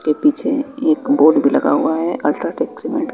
इसके पीछे एक बोड भी लगा हुआ है अल्ट्राटेक सीमेंट --